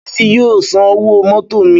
Bísí yóò san owó mótò mi